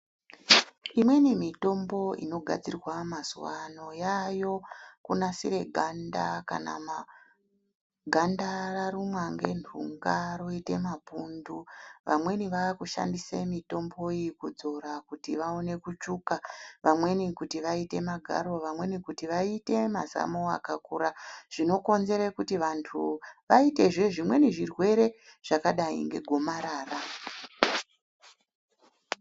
Imweni mitombo inogadzirwa mazuwa ano yaayo kunasire ganda kana ganda rarumwa ngentunga roite mapundu vamweni vakushandise mitombo iyi kudzora kuti vaone kutsvuka vamweni kuti vaite magaro vamweni kuti vaite mazamo akakura zvinokonzere kuti vantu vaitezve zvimweni zvirwere zvakadai ngegomarara.